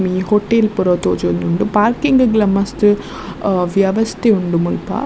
ಒಂಜಿ ಹೊಟೇಲ್ ಪೂರ ತೋಜೊಂದುಂಡು ಪಾರ್ಕಿಂಗ್ ಲ ಮಸ್ತ್ ಅಹ್ ವ್ಯವಸ್ತೆ ಉಂಡು ಮುಲ್ಪ .